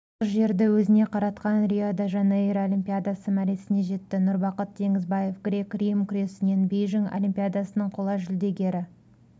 жұмыр жерді өзіне қаратқан рио-де-жанейро олимпиадасы мәресіне жетті нұрбақыт теңізбаев грек-рим күресінен бейжің олимпиадасының қола жүлдегері